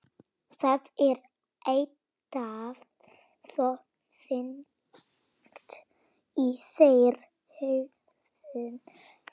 Það er eitthvað svo þungt í þér hljóðið.